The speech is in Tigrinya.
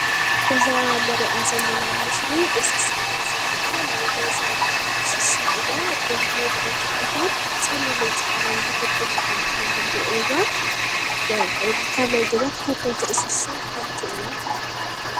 እዛ ንርእያ ዘለና ምስሊ እንስሳ እያ ዝኒኣ ናይ ገዛ እንስሳ እያ ድሙ ድማ ትብሃል ፀሊምን ፃዕዳን ዝንጉርግ ዝኾነ ሕብሪ እኒሀዋ ካብ ናይ ገዛ ተፈተዉቲ እንስሳ ሓንቲ እያ።